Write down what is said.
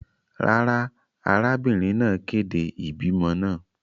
Rara, arabinrin naa kede ibimọ naa.